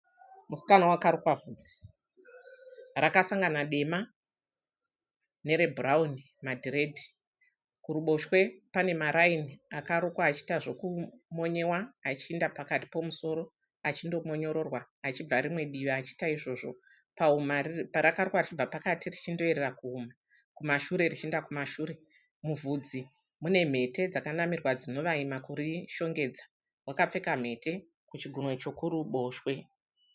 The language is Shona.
Musikana wakarukwa vhudzi. Rakasangana dema nerebhurauni madhiredhi. Kuroboshwe pane maraini akarukwa achiita zvokumonyewa achienda pakati pemusoro achindo monyororwa achibva rimwe divi achitaita izvozvo. Pahuma rakarukwa richienda richindoyerera richienda kuhuma kumashure richienda kumashure. Muvhudzi mune mhete dzinovhaima kuri shongedza. Wakapfeka mhete kuchigunwe chokruboshwe.